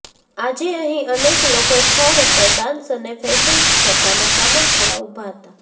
આજે અહી અનેક લોકો સ્થળ ઉપર ડાન્સ અને ફેસન સ્પર્ધામાં સામેલ થવા ઉભા હતા